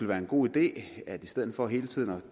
være en god idé i stedet for hele tiden at